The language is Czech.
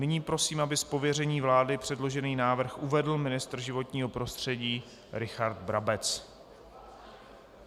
Nyní prosím, aby z pověření vlády předložený návrh uvedl ministr životního prostředí Richard Brabec.